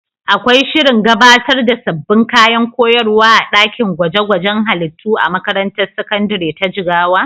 Akwai shirin gabatar da sabbin kayan koyarwa a ɗakin gwaje-gwajen halittu a makarantar sakandare ta Jigawa?